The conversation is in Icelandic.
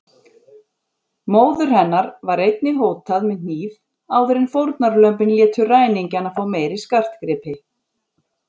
Móður hennar var einnig hótað með hníf áður en fórnarlömbin létu ræningjana fá meiri skartgripi.